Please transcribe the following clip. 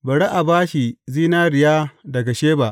Bari a ba shi zinariya daga Sheba.